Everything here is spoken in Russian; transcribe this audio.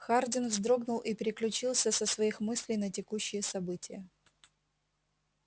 хардин вздрогнул и переключился со своих мыслей на текущие события